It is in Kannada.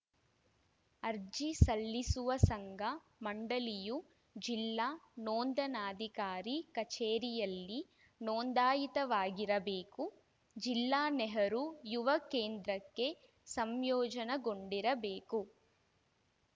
ಅರ್ಜಿ ಸಲ್ಲಿಸುವ ಸಂಘ ಮಂಡಳಿಯು ಜಿಲ್ಲಾ ನೋಂದಣಾಧಿಕಾರಿ ಕಚೇರಿಯಲ್ಲಿ ನೋಂದಾಯಿತವಾಗಿರಬೇಕು ಜಿಲ್ಲಾ ನೆಹರು ಯುವ ಕೆಂದ್ರಕ್ಕೆ ಸಂಯೋಜನೆಗೊಂಡಿರಬೇಕು